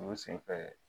U sen fɛ